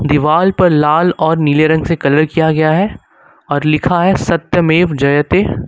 दीवाल पर लाल और नीले रंग से कलर किया गया है और लिखा है सत्य मेव जयते।